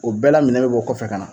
O bɛɛ la, minɛ bɛ b'o kɔfɛ ka na.